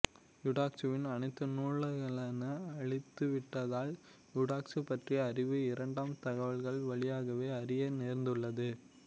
யூடாக்சுவின் அனைத்து நூல்களௌ அழிந்துவிட்ட்தால் யூடாக்சு பற்றிய அரிவு இரண்டாம் தவல்கள் வழியாகவே அறிய நேர்ந்துள்ளது